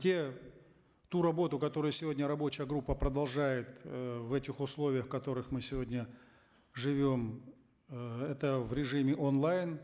те ту работу которую сегодня рабочая группа продолжает э в этих условиях в которых мы сегодня живем э это в режиме онлайн